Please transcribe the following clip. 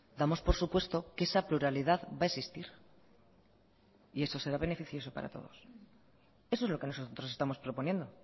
damos por supuesto que esa pluralidad va a existir y eso será beneficioso para todos eso es lo que nosotros estamos proponiendo